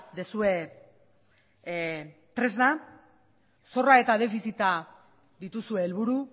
duzue tresna zorra eta defizita dituzue helburu